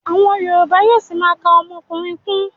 Àwọn yorùbá yóó ṣima ka ọmọkùnrin kún.